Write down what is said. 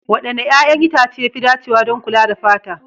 Wanne 'ƴa'ƴan itace ya fi dacewa don kula da fata?